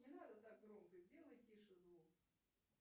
не надо так громко сделай тише звук